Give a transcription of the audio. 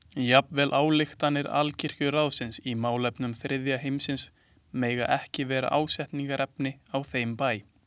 Jafnvel ályktanir Alkirkjuráðsins í málefnum þriðja heimsins mega ekki verða ásteytingarefni á þeim bæ.